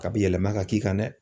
K'a bi yɛlɛma ka k'i kan dɛ